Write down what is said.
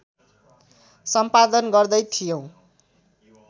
सम्पादन गर्दै थियौँ